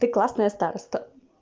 ты классная староста